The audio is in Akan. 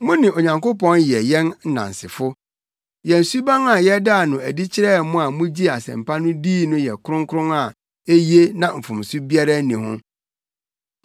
Mo ne Onyankopɔn yɛ yɛn nnansefo. Yɛn suban a yɛdaa no adi kyerɛɛ mo a mugyee Asɛmpa no dii no yɛ kronkron a eye na mfomso biara nni ho.